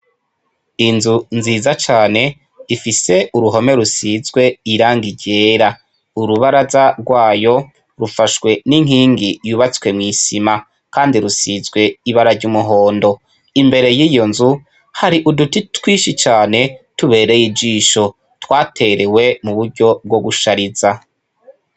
Inzu nziza cane ifise uruhome rusizwe irangi ryera urubaraza rwayo rufashwe ninkigi yubatswe mwisima kandi rusizwe ibara ryumuhondo imbere yiyonzu hari uduti twinshi cane tubereye ijisho twaterewe muburyo bwogushariza